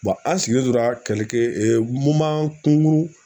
an sigilen tora kungurun